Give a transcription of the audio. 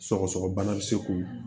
Sɔgɔsɔgɔbana bɛ se k'o